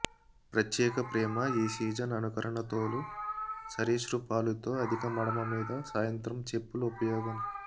ప్రత్యేక ప్రేమ ఈ సీజన్ అనుకరణ తోలు సరీసృపాలు తో అధిక మడమ మీద సాయంత్రం చెప్పులు ఉపయోగం